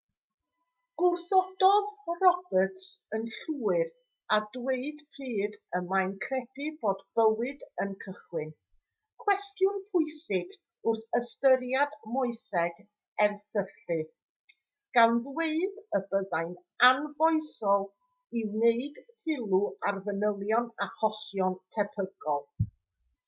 gwrthododd roberts yn llwyr â dweud pryd y mae'n credu bod bywyd yn cychwyn cwestiwn pwysig wrth ystyried moeseg erthylu gan ddweud y byddai'n anfoesol i wneud sylw ar fanylion achosion tebygol